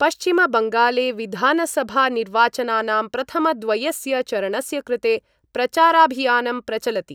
पश्चिम बंगाले विधानसभानिर्वाचनानां प्रथमद्वयस्य चरणस्य कृते प्रचाराभियानं प्रचलति।